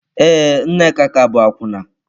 Ee, Nneka ka bụ akwụna.